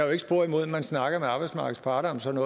jo ikke spor imod at man snakker med arbejdsmarkedets parter om sådan